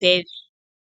pevi.